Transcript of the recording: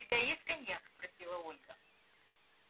у тебя есть коньяк спросила ольга